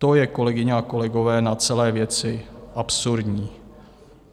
To je, kolegyně a kolegové, na celé věci absurdní.